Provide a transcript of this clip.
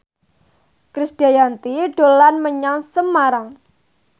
Krisdayanti dolan menyang Semarang